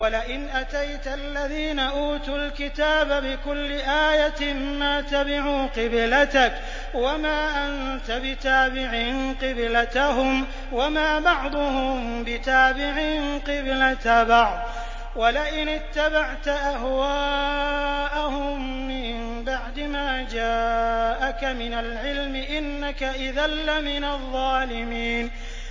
وَلَئِنْ أَتَيْتَ الَّذِينَ أُوتُوا الْكِتَابَ بِكُلِّ آيَةٍ مَّا تَبِعُوا قِبْلَتَكَ ۚ وَمَا أَنتَ بِتَابِعٍ قِبْلَتَهُمْ ۚ وَمَا بَعْضُهُم بِتَابِعٍ قِبْلَةَ بَعْضٍ ۚ وَلَئِنِ اتَّبَعْتَ أَهْوَاءَهُم مِّن بَعْدِ مَا جَاءَكَ مِنَ الْعِلْمِ ۙ إِنَّكَ إِذًا لَّمِنَ الظَّالِمِينَ